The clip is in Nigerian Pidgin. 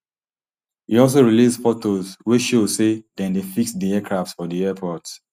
e also release photos wey show say dem dey fix di aircraft for di airport